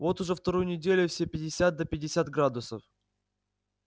вот уже вторую неделю все пятьдесят да пятьдесят градусов